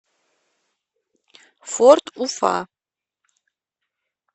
форд уфа